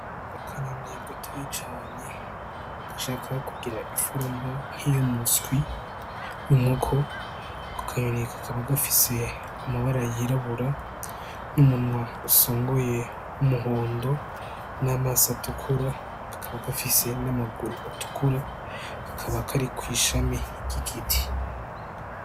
Akanyoni gatoyi cane gashaka kugira iforuma nk'iyumuswi w'inkoko, ako kanyoni kakaba gafise amabara y'irabura n'umunwa usongoye w'umuhondo n'amaso atukura, kakaba gafise n'amaguru atukura, kakaba kari kwishami ry'giti.